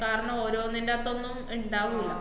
കാരണം ഓരോന്നിന്‍റാത്തൊന്നും ഇണ്ടാവൂല്ല.